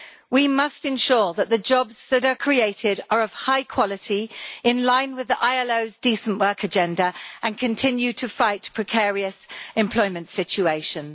We must ensure that the jobs that are created are of high quality, in line with the ILO's Decent Work Agenda, and continue to fight precarious employment situations.